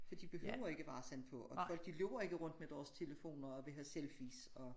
For de behøver ikke være sådan på og folk de løber ikke rundt med deres telefoner og vil have selfies og